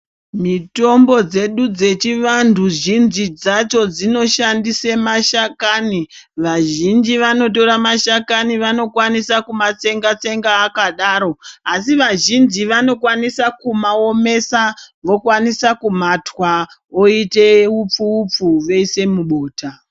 Mitombo dzedu dzechivantu zhinji dzacho dzinoshandise mashakani. Vazhinji vanotora mashakani vanokwanisa kumatsenga-tsenga akadaro. Asi vazhinji vanokwanisa kumaomesa vokwanisa kumatwa oite upfu-upfu voise mubota.